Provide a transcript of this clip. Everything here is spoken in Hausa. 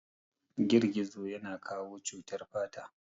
Gizogizo ya na kawo cutar fata